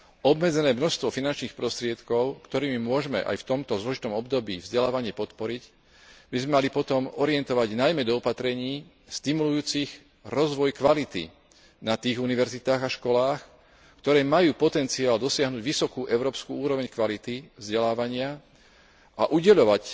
Obmedzené množstvo finančných prostriedkov, ktorými môžme aj v tomto zložitom období vzdelávanie podporiť, by sme mali potom orientovať najmä do opatrení stimulujúcich rozvoj kvality na tých univerzitách a školách, ktoré majú potenciál dosiahnuť vysokú európsku úroveň kvality vzdelávania a udeľovať